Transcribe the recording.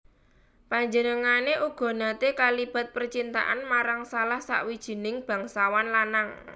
Panjenengané uga naté kalibat percintaan marang salah sawijining bangsawan lanang